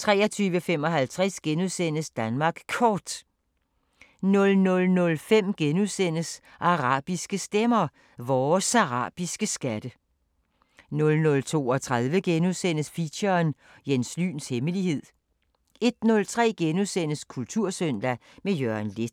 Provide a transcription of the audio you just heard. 23:55: Danmark Kort * 00:05: Arabiske Stemmer: Vores arabiske skatte * 00:32: Feature: Jens Lyns hemmelighed * 01:03: Kultursøndag – med Jørgen Leth *